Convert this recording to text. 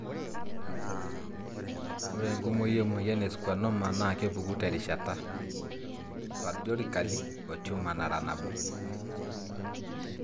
Oreenkumoi emoyian e schwannoma na kepuku terishata( sporadically) o tumour nara nabo.